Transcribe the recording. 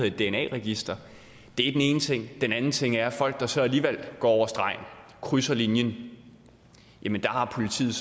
et dna register det er den ene ting den anden ting er at folk der så alligevel går over stregen krydser linjen har politiet